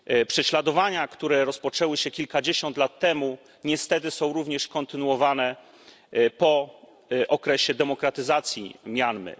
Prześladowania, które rozpoczęły się kilkadziesiąt lat temu, niestety są również kontynuowane po okresie demokratyzacji Mjanmy.